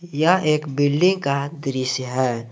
यह एक बिल्डिंग का दृश्य है।